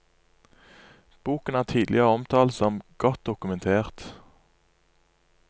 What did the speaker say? Boken er tidligere omtalt som godt dokumentert.